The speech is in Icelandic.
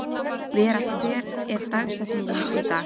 Vera, hver er dagsetningin í dag?